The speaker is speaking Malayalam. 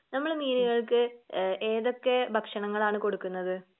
നമ്മള് മീനുകൾക്ക് ഏഹ് ഏതൊക്കെ ഭക്ഷണങ്ങൾ ആണ് കൊടുക്കുന്നത്?